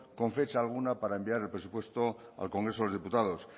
con fecha alguna para enviar el presupuesto al congreso de los diputados